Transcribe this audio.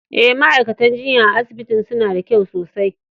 Eh, ma'aikatan jinya a'asibitin suna da kyau sosai.